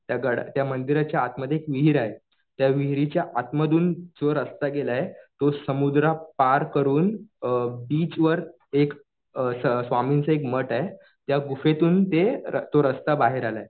त्या गडाच्या, त्या मंदिराच्या आतमध्ये एक विहीर आहे. त्या विहिरीच्या आतमधून जो रस्ता केलाय तो समुद्र पार करून बीच वर एक स्वामींचं एक मठ आहे. त्या गुहेतून ते, तो रस्ता बाहेर आलाय.